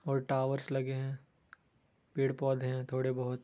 और टावर्स लगे हैं पेड़-पौधे हैं थोड़े बहुत |